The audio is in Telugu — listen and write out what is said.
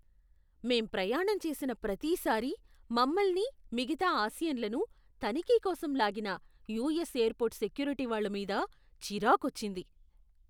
మేం ప్రయాణం చేసిన ప్రతిసారీ మమ్మల్ని, మిగతా ఆసియన్లను తనిఖీ కోసం లాగిన యుఎస్ ఎయిర్పోర్ట్ సెక్యూరిటీ వాళ్ళ మీద చిరాకొచ్చింది.